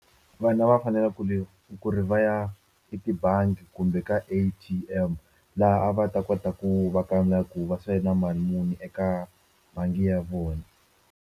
Vanhu a va fanele ku ri ku ri va ya etibangi kumbe ka A_T_M laha a va ta kota ku va kamba ku va sale na mali muni eka bangi ya vona.